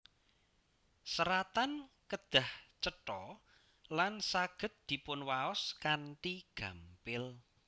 Seratan kedah cetha lan saged dipunwaos kanthi gampil